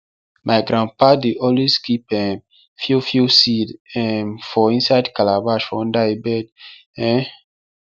my grandpapa dey always keep um fiofio seed um for inside calabash for under e bed um